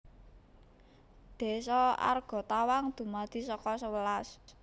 Désa Argatawang dumadi saka sewelas